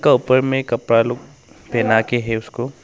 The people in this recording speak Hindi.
और ऊपर में कपड़ा लोग पहना के है उस को।